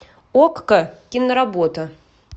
окко киноработа